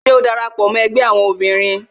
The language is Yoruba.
Ṣé o dara pọ mó ẹgbẹ́ àwọn obìnrin?